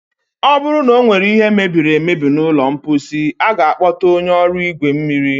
ọ bụrụ na ọ nwere ihe mebiri emebi n'ụlọ mkposi, a ga-akpọta onye ọrụ igwe mmiri.